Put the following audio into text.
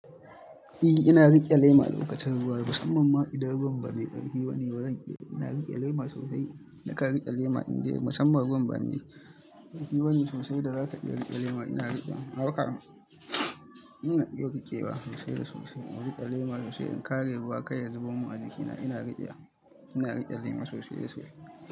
E, ina rike lema lokacin ruwa musamman ma idan ruwan ba mai ƙarfi bane wajen ƙira. Ina rike lema sosai. Na ka riƙe lema in dai musamman ruwan bane ƙarfi bane sosai da za ka iya lema ina rikew, ina iya riƙewa sosai da sosai. Na riƙe lema sosai in kare ruwa kai ya zubo min a jikina ina riƙe. Ina rike lema sosai da sosai.